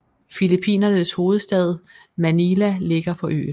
Filippinernes hovedstad Manila ligger på øen